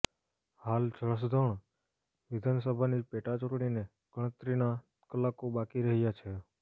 હાલ જસદણ વિધાનસભાની પેટાચુંટણીને ગણતરીના કલાકો બાકી રહ્યા છે